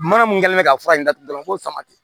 Mana mun kɛlen bɛ ka fura in datugu dɔrɔn fo samati